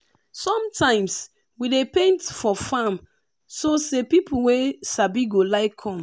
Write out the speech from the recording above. sometimes we dey paint for farm so say people wey sabi go like come.